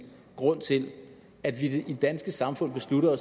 grund til at vi i det danske samfund beslutter